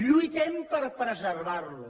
lluitem per preservar lo